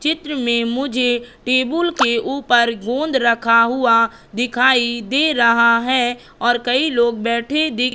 चित्र में मुझे टेबूल के ऊपर गोंद रखा हुआ दिखाई दे रहा है और कई लोग बैठे दी--